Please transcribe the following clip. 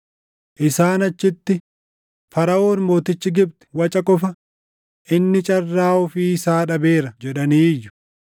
Isaan achitti, ‘Faraʼoon mootichi Gibxi waca qofa; inni carraa ofii isaa dhabeera’ jedhanii iyyu.